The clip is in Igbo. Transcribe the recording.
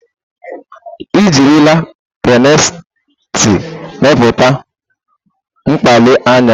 Ejirila pịntrestị mepụta mkpali anya.